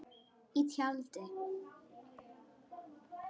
Í tjaldi.